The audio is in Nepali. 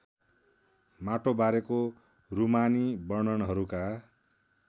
माटोबारेको रूमानी वर्णनहरूका